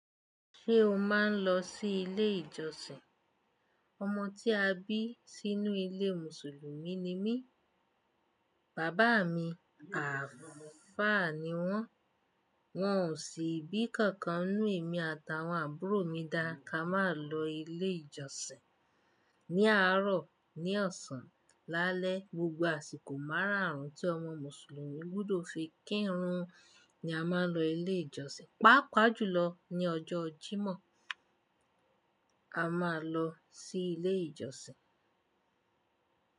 Ṣé o máa ń lọ sí ilé ìjọsìn? Ọmọ tí a bí sínú ilé Mùsùlùmí ni mí, bàbá mi Ààfáà ni wọ́n. Wọ́n ò sì bí nkankan nínu emi ati àwọn àbúrò mi dá ká má lọ ilé ìjọsìn. Ni àárọ̀, ní ọ̀sán, lálẹ́, gbogbo àsìkò máràárún tí ọmọ Mùsùlùmí gbọdọ fi kírun ni a máa ń lọ ilé ìjọsìn. Pápá jùlọ ní ọjọ́ jimọ̀ a máa n lọ sí ilé ìjọsìn.